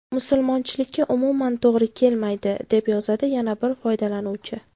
Musulmonchilikka umuman to‘g‘ri kelmaydi”, deb yozadi yana bir foydalanuvchi.